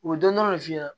U bɛ dɔnni de f'i ɲɛna